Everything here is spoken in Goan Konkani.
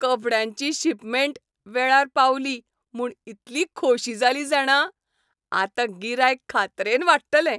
कपड्यांची शिपमेंट वेळार पावली म्हूण इतली खोशी जाली जाणा, आतां गिरायक खात्रेन वाडटलें.